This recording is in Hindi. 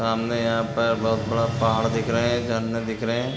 सामने यहाँ पर बहुत बड़ा पहाड़ दिख रहा झरना दिख रहे हैं।